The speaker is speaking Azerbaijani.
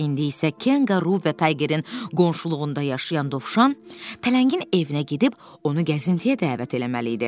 İndi isə Kenga Ru və Taygerin qonşuluğunda yaşayan Dovşan tələngin evinə gedib onu gəzintiyə dəvət eləməli idi.